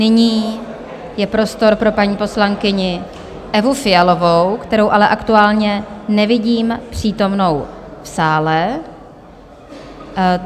Nyní je prostor pro paní poslankyni Evu Fialovou, kterou ale aktuálně nevidím přítomnou v sále.